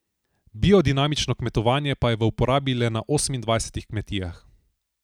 Biodinamično kmetovanje pa je v uporabi le na osemindvajsetih kmetijah.